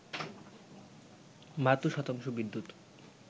৭২ শতাংশ বিদ্যুৎ